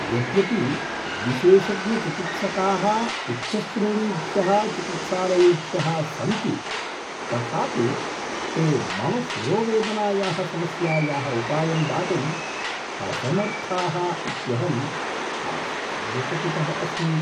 यद्यपि विशेषज्ञचिकित्सकाः उच्चश्रेणीभ्यः चिकित्सालयेभ्यः सन्ति तथापि ते मम शिरोवेदनायाः समस्यायाः उपायं दातुम् असमर्थाः इत्यहम् आश्चर्यचकितः अस्मि।